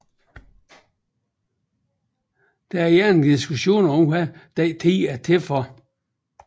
Der er generelt diskussioner om hvad den er til for